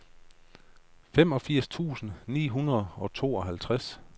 femogfirs tusind ni hundrede og tooghalvtreds